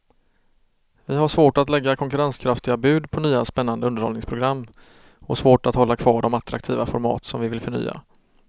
Vi har svårt att lägga konkurrenskraftiga bud på nya spännande underhållningsprogram och svårt att hålla kvar de attraktiva format som vi vill förnya.